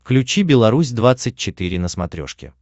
включи беларусь двадцать четыре на смотрешке